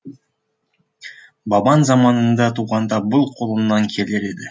бабаң заманында туғанда бұл қолыңнан келер еді